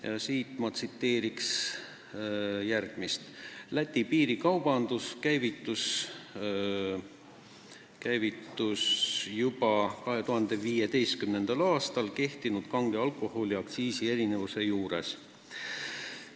Ma tsiteerin sellest kirjast järgmist lõiku: "Läti piirikaubandus käivitus aga juba 2015. aastal kehtinud kange alkoholi aktsiisi erinevuse juures.